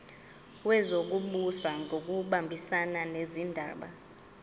wezokubusa ngokubambisana nezindaba